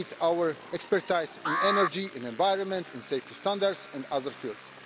They need our expertise in energy, in the environment, in safety standards and other fields.